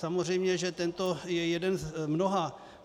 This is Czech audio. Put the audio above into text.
Samozřejmě že tento je jeden z mnoha.